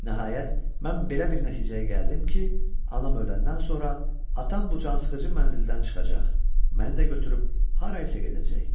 Nəhayət, mən belə bir nəticəyə gəldim ki, anam öləndən sonra atam bu cansıxıcı mənzildən çıxacaq, məni də götürüb harasa gedəcək.